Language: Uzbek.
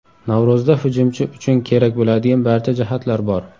Navro‘zda hujumchi uchun kerak bo‘ladigan barcha jihatlar bor.